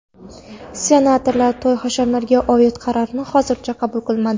Senatorlar to‘y-hashamlarga oid qarorni hozircha qabul qilmadi.